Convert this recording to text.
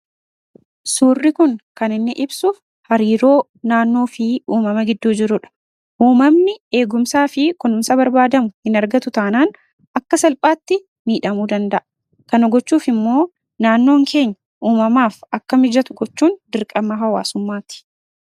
Suurri Kun kan inni ibsu, hariiroo naannoo fi uumama gidduu jirudha. Uummanni eegumsaa fi kunuunsa barbaadamu hin argatu taanaan akka salphaatti miidhuu danda'a. Kana gochuuf immoo naannoon keenya uumamaaf akka mijatu gochuun dirqama hawaasummaati.